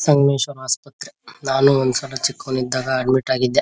ಸಂಗಮೇಶ್ವರ ಆಸ್ಪತ್ರೆ ನಾನು ಒಂದ ಸಲ ಚಿಕ್ಕೋನ್ ಇದ್ದಾಗ ಅಡ್ಮಿಟ್ ಆಗಿದ್ದೆ .